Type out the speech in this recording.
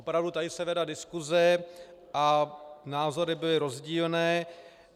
Opravdu tady se vedla diskuse a názory byly rozdílné.